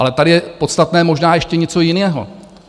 Ale tady je podstatné možná ještě něco jiného.